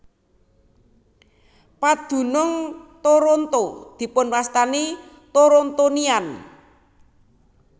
Padunung Toronto dipun wastani Torontonian